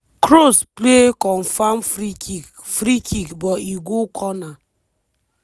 kroos play confam free kick free kick but e go corner.